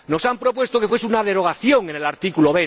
Nos han propuesto que fuese una derogación como en el artículo